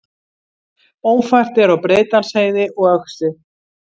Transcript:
Ófært er á Breiðdalsheiði og Öxi